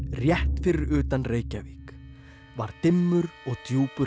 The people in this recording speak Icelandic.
rétt fyrir utan Reykjavík var dimmur og djúpur